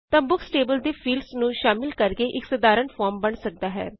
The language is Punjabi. ਤਾਂ ਬੁਕਸ ਟੇਬਲ ਦੇ ਫੀਲਡਸ ਨੂੰ ਸ਼ਾਮਲ ਕਰਕੇ ਇਕ ਸਾਧਾਰਨ ਫੋਰਮ ਬਣ ਸਕਦਾ ਹੈ